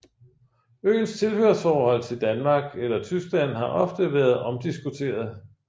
Øens tilhørsforhold til Danmark eller Tyskland har ofte været omdiskuteret